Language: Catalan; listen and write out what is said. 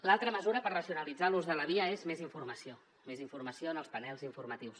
l’altra mesura per racionalitzar l’ús de la via és més informació més informació en els panells informatius